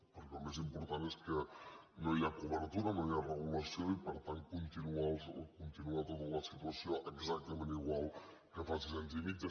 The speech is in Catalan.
perquè el més important és que no hi ha cobertura no hi ha regulació i per tant continua tota la situació exactament igual que fa sis anys i mig